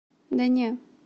да не